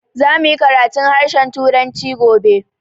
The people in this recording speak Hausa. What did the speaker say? Za mu yi karatun harshen turanci gobe